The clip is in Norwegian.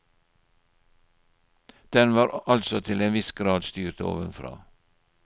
Den var altså til en viss grad styrt ovenfra.